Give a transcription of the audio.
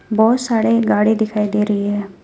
बहोत सारे गाड़ी दिखाई दे रही है।